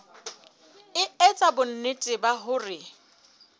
e etsa bonnete ba hore